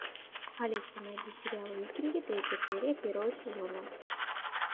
алиса найди сериал викинги третья серия первого сезона